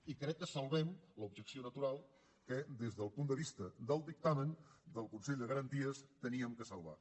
i crec que salvem l’objecció natural que des del punt de vista del dictamen del consell de garanties havíem de salvar